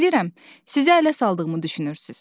Bilirəm, sizə ələ saldığımı düşünürsüz.